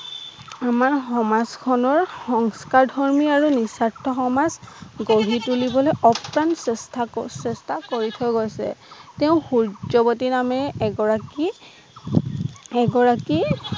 আমাৰ সমাজখনৰ সংস্কাৰ ধৰ্ম আৰু নিস্বাৰ্থ সমাজ গঢ়ি তুলিবলৈ আপ্ৰাণ চেষ্টা কৰ চেষ্টা কৰি থৈ গৈছে। তেওঁ সূৰ্যৱতী নামেৰে এগৰাকী এগৰাকী